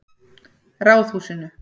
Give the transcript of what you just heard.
Ráðhúsinu